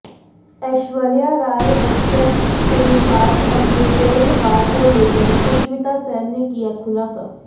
ऐश्वर्या राय बच्चन के साथ अपने कोल्ड वार को लेकर सुष्मिता सेन ने किया खुलासा